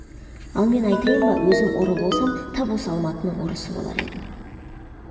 ал мен айтайын ба өзім ұры болсам тап осы алматының ұрысы болар едім